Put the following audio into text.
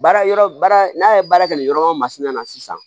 Baara yɔrɔ baara n'a ye baara kɛ nin yɔrɔ o masina na sisan